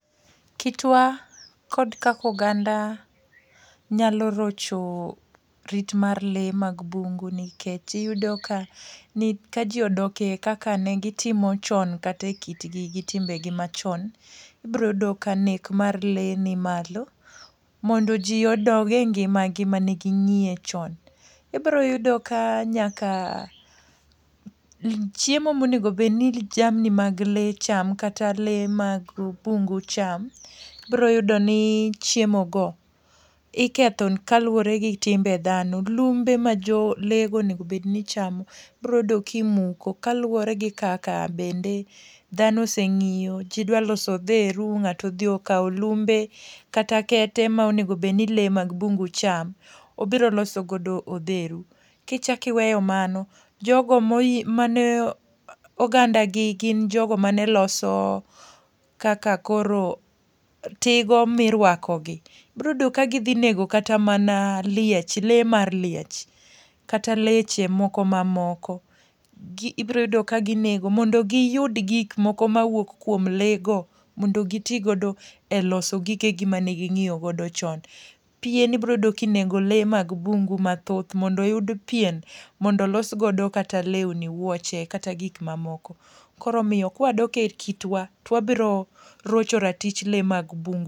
Kitwa kod kakoganda nyalo rocho rit mar le mag bungu nikech iyudo ka ni ka ji odoke kaka ne gitimo chon kate kitgi gi timbe gi machon, ibroyudo ka nek mar lee ni malo. Mondo ji odog e ngima gi mane ging'iye chon. Ibroyudo ka nyaka chiemo monegobedni jamni mag le cham kata lee mag bungu cham, ibroyudo ni chiemo go iketho kaluwore gi timbe dhano. Lumbe ma jo lee go onego obedni chamo, ibroyudo kimuko. Kaluwore gi kaka dhano oseng'iyo, ji dwa loso odheru, ng'atoodhi okawo lumbe kata kete ma onegobedni le mag bungu cham. Obiro loso godo odheru. Kichakiweyo mano, jogo moyie mane oganda gi gin jogo mane loso kaka koro tigo mirwako gi. Ibroyudo ka gidhi nego kata mana liech, le mar liech kata leche ma moko. Ibroyudo ka ginego, mondo giyud gik moko mawuok kuom le go. Mondo gi ti godo e loso gigegi mane ging'iyo go chon. Pien ibroyudo kinego le mag bungu mathoth mondo yud pien mondo los godo kata lewni, wuoche kata gik ma moko. Koromiyo kwadok e kitwa, twabiro roch ratich le mag bungu.